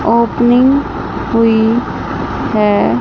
Opening हुई है।